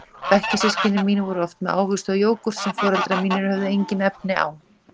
Bekkjarsystkini mín voru oft með ávexti og jógúrt sem foreldrar mínir höfðu engin efni á.